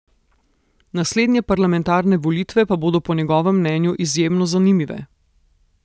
Naslednje parlamentarne volitve pa bodo po njegovem mnenju izjemno zanimive.